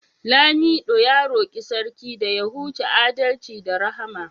lamido ya roki Sarki da ya huce adalci da Rahama